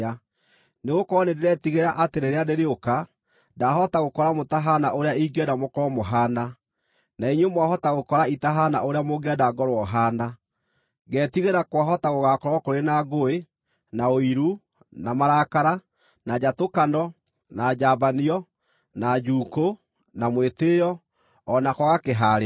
Nĩgũkorwo nĩndĩretigĩra, atĩ rĩrĩa ndĩrĩũka, ndahota gũkora mũtahaana ũrĩa ingĩenda mũkorwo mũhaana, na inyuĩ mwahota gũkora itahaana ũrĩa mũngĩenda ngorwo haana. Ngetigĩra kwahota gũgaakorwo kũrĩ na ngũĩ, na ũiru, na marakara, na njatũkano, na njambanio, na njuukũ, na mwĩtĩĩo, o na kwaga kĩhaarĩro.